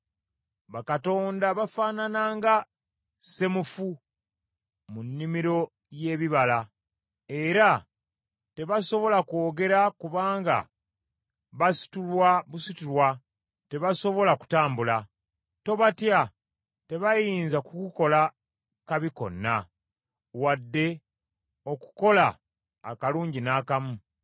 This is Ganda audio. Bakatonda bafaanana nga ssemufu mu nnimiro y’ebibala, era tebasobola kwogera kubanga basitulwa busitulwa tebasobola kutambula. Tobatya, tebayinza kukukola kabi konna, wadde okukola akalungi n’akamu.”